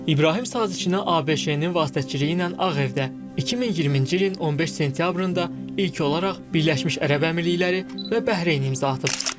İbrahim sazişinə ABŞ-ın vasitəçiliyi ilə Ağ Evdə 2020-ci ilin 15 sentyabrında ilk olaraq Birləşmiş Ərəb Əmirlikləri və Bəhreyn imza atıb.